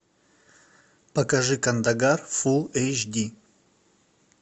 покажи кандагар фулл эйч ди